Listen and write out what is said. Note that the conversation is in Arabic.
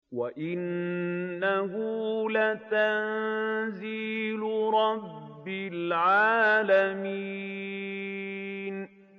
وَإِنَّهُ لَتَنزِيلُ رَبِّ الْعَالَمِينَ